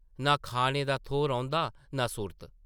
नां खाने दा थौह् रौंह्दा नां सुर्त ।